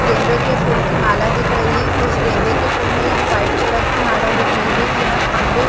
गेंदे के फूल की माला दिख रही है कुछ गेंदे के फूल में यहाँ वाइट कलर की माला दिख रही है यहाँ खम्बे --